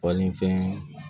Falenfɛn